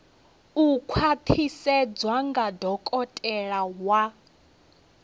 u khwaṱhisedzwa nga dokotela wa